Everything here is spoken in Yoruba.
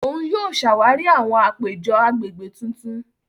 Òun yóò ṣàwarí àwọn àpéjọ agbègbè tuntun.